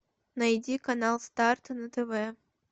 найди канал старт на тв